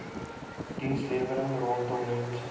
dienslewering rondom mense